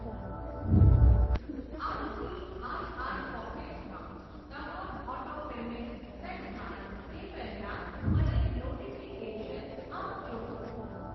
ICICI pockets માં તમામ auto payments set થાય તે પહેલાં મને નોટીફીકેશન આપજો.